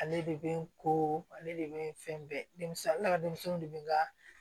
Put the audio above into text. Ale de bɛ n ko ale de bɛ fɛn bɛɛ denmisɛn de bɛ n ka